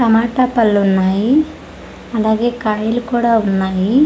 టమాటా పళ్ళు ఉన్నాయి అలాగే కండ్లు కూడా ఉన్నాయి.